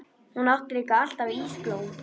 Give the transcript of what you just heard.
Hún átti líka alltaf ísblóm.